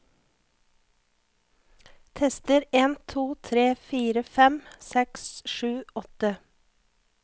Tester en to tre fire fem seks sju åtte